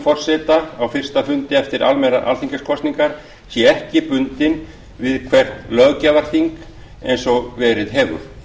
forseta á fyrsta fundi eftir almennar alþingiskosningar sé ekki bundin við hvert löggjafarþing eins og verið hefur